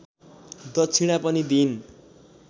दक्षिणा पनि दिइन्